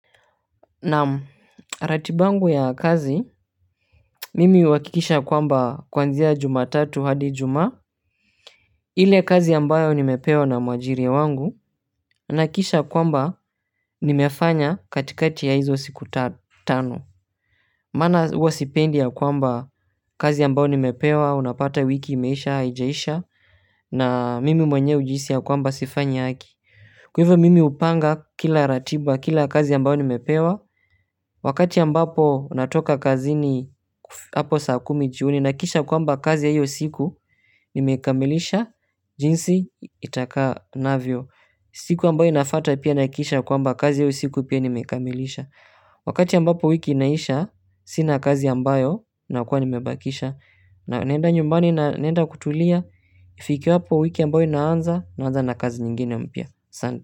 Naam ratiba yangu ya kazi mimi huhakikisha kwamba kwanzia jumatatu hadi ijumaa ile kazi ambayo nimepewa na mwajiri wangu nahakikisha kwamba nimefanya katikati ya hizo siku tano maana huwa sipendi ya kwamba kazi ambayo nimepewa unapata wiki imeisha haijaisha na mimi mwenyewe hujihisi ya kwamba sifanyi haki kwa hivyo mimi hupanga kila ratiba kila kazi ambayo nimepewa wakati ambapo natoka kazini hapo saa kumi jioni nahakikisha kwamba kazi ya hiyo siku nimekamilisha. Jinsi itaka navyo siku ambayo inafata pia nahakikisha kwamba kazi ya hiyo siku pia nimekamilisha wakati ambapo wiki inaisha sina kazi ambayo nakua nimebakisha naenda nyumbani na naenda kutulia kufikia hapo wiki ambayo inaanza inaanza na kazi nyingine mpya asante.